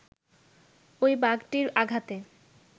ঐ বাঘটির আঘাতে